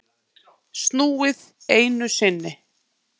Snúið einu sinni.